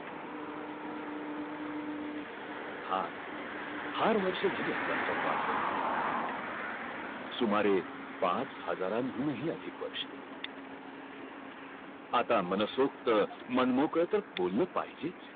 फार फार वर्ष झाले आपला सोमवार होऊन सुमारे पाच हजार ऊन ह ही अधिक वर्ष आता मनसोक्त मनमोकळ तर बोलच पाहिजे